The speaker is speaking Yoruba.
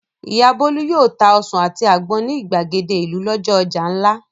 Ìyá Bólú yóò ta ọsàn àti àgbọn ní ìgbàgede ìlú lọ́jọ́ ọjà ńlá.